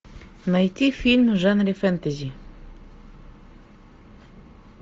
найти фильм в жанре фэнтези